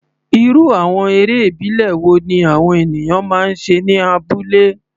Irú àwọn eré ìbílẹ̀ wo ni àwọn ènìyàn máa ń ṣe ní abúlé?